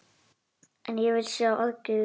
En ég vil sjá aðgerðir